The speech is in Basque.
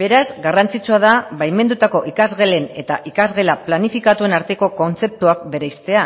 beraz garrantzitsua da baimendutako ikasgelen eta ikasgela planifikatuen arteko kontzeptuak bereiztea